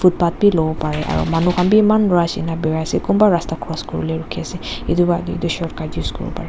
batt bi luwo pare aru manu khan bi maan rush enka birai ase kunba rasta cross kuribole rukhi ase itu wa etu short cut use kuribo parey.